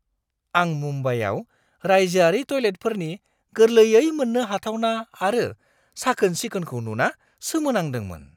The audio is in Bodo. आं मुम्बाइआव रायजोआरि टयलेटफोरनि गोरलैयै मोननो हाथावना आरो साखोन-सिखोनखौ नुना सोमोनांदोंमोन।